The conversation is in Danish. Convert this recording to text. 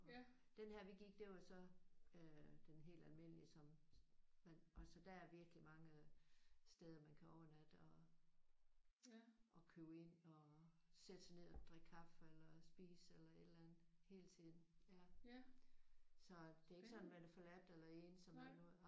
Den her vi gik den var så øh den helt almindelige som man og så der er virkelig mange steder man kan overnatte og og købe ind og sætte sig ned og drikke kaffe eller spise eller et eller andet hele tiden. Så det er ikke sådan at man er forladt eller ensom eller noget